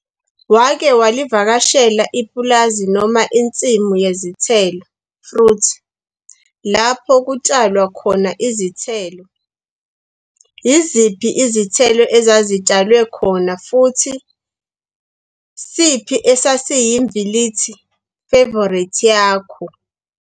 Wake walivakashela ipulazi noma insimu yezithelo, fruit, lapho kutshalwa khona izithelo? Yiziphi izithelo ezazitshalwe khona futhi siphi esasiyimvilithi, favourite yakho?